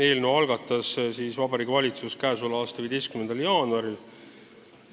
Eelnõu algatas Vabariigi Valitsus k.a 15. jaanuaril.